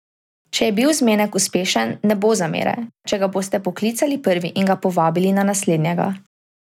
Če je bil zmenek uspešen, ne bo zamere, če ga boste poklicali prvi in ga povabili na naslednjega.